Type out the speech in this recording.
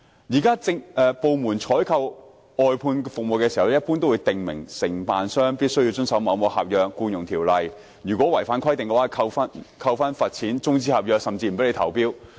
現時，政府部門採購外判服務時一般會訂明，承辦商必須遵守合約和《僱傭條例》，如果違反規定便會遭扣分、罰錢、終止合約甚至不准投標。